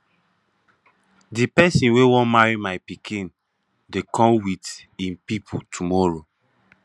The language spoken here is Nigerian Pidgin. the person wey wan marry my pikin dey come with im people tomorrow